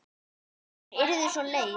Hún yrði svo leið.